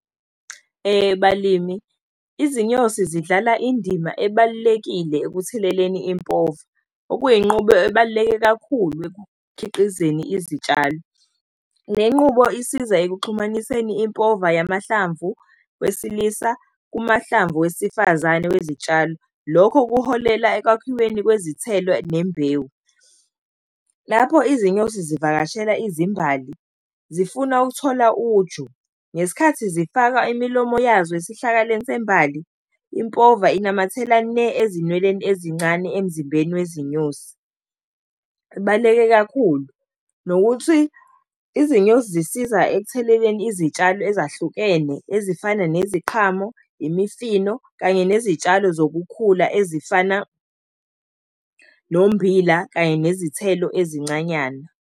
Balimi, izinyosi zidlala indima ebalulekile ekutheleleni impova, okuyenqubo ebaluleke kakhulu ekukhiqizeni izitshalo. Le nqubo isiza ekuxhumaniseni impova yamahlamvu wesilisa kumahlamvu wesifazane wezitshalo. Lokho kuholela ekwakhiweni kwezithelo nembewu. Lapho izinyosi zivakashela izimbali zifuna ukuthola uju ngesikhathi zifaka imilomo yazo esihlakaleni sembali, impova inamathela ne ezinweleni ezincane emzimbeni wezinyosi, kubaluleke kakhulu. Nokuthi izinyosi zisisiza ekutheleleni izitshalo ezahlukene ezifana neziqhamu, imifino, kanye nezitshalo zokukhula ezifana nommbila kanye nezithelo ezincanyana.